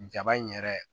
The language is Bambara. Jaba in yɛrɛ